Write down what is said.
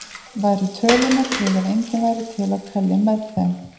Væru tölurnar til ef enginn væri til að telja með þeim?